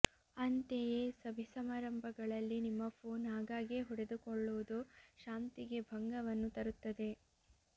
ಅಂತೆಯೇ ಸಭೆ ಸಮಾರಂಭಗಳಲ್ಲಿ ನಿಮ್ಮ ಫೋನ್ ಆಗಾಗ್ಗೆ ಹೊಡೆದುಕೊಳ್ಳುವುದು ಶಾಂತಿಗೆ ಭಂಗವನ್ನು ತರುತ್ತದೆ